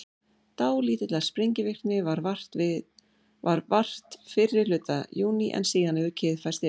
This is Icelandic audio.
dálítillar sprengivirkni varð vart fyrri hluta júní en síðan hefur kyrrð færst yfir